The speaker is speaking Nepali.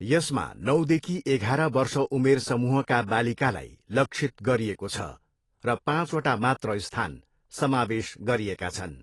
यसमा नौदेखि एघार वर्ष उमेर समूहका बालिकालाई लक्षित गरिएको छ र पाँचवटा मात्र स्थान समावेश गरिएका छन्।